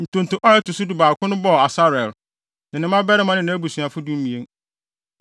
Ntonto a ɛto so dubaako no bɔɔ Asarel, ne ne mmabarima ne nʼabusuafo (12)